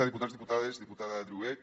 diputats diputades diputada driouech